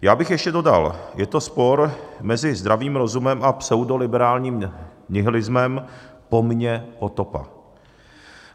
Já bych ještě dodal, je to spor mezi zdravým rozumem a pseudoliberálním nihilismem - po mně potopa.